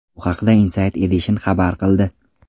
Bu haqda Inside Edition xabar qildi .